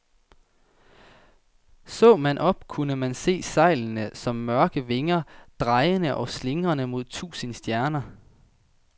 Så man op, kunne man se sejlene som mørke vinger, drejende og slingrende mod tusinde stjerner.